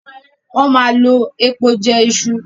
Wón má lọ èpo jé Isu.